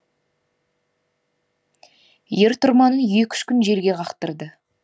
ер тұрманын екі үш күн желге қақтырды